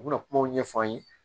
U bɛna kumaw ɲɛfɔ an ye